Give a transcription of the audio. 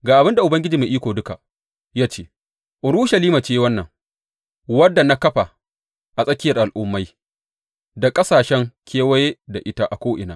Ga abin da Ubangiji Mai Iko Duka ya ce Urushalima ce wannan, wadda na kafa a tsakiyar al’ummai, da ƙasashe kewaye da ita a ko’ina.